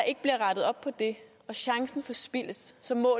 ikke bliver rettet op på det og chancen forspildes så må